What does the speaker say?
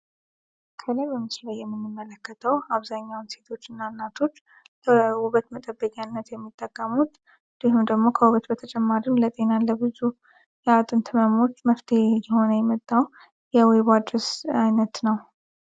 አብዛኛውን ሴቶችና እናቶች የሚጠቀሙት በተጨማሪም ለጤና ለብዙ የሆነ የመጣ አይነት ነው